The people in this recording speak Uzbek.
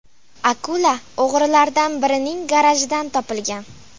Akula o‘g‘rilardan birining garajidan topilgan.